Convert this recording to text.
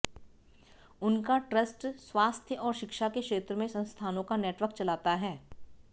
उनका ट्रस्ट स्वास्थ्य और शिक्षा के क्षेत्र में संस्थानों का नेटवर्क चलाता है